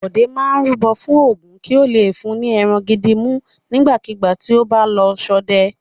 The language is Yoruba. Bọ̀dé máa rúbọ fún Ògún kí ó le fún ní ẹran gidi mú nígbàkigbà tí ó bá lọ ṣọdẹ.